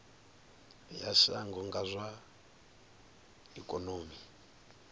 ya shango kha zwa ikonomi